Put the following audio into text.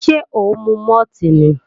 Ṣé ó ń mu mọ́ọ̀tì ni?